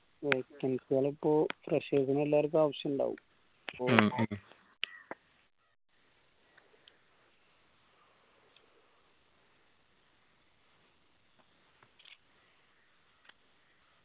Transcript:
ഏർ താൽക്കാലിപ്പോ freshers നെ എല്ലാർക്കു ആവശ്യുണ്ടാവും